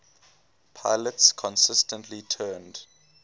pilots consistently turned